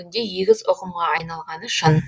бұл бүгінде егіз ұғымға айналғаны шын